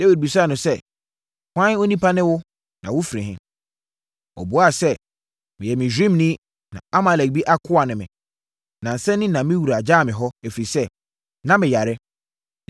Dawid bisaa no sɛ, “Hwan onipa ne wo, na wofiri he?” Ɔbuaa sɛ, “Meyɛ Misraimni, na Amalekni bi akoa ne me. Nnansa ni na me wura gyaa me hɔ, ɛfiri sɛ, na meyare.